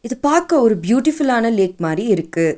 இத பாக்க ஒரு பியூட்டிஃபுல்லான லேக் மாரி இருக்கு.